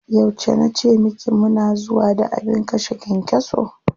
Yauce na ce miki mu na zuwa da abin kashe kyankyaso?